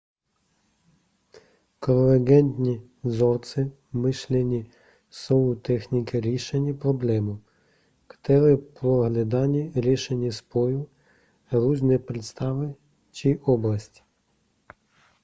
konvergentní vzorce myšlení jsou techniky řešení problémů které pro hledání řešení spojují různé představy či oblasti